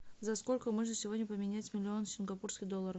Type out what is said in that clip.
за сколько можно сегодня поменять миллион сингапурских долларов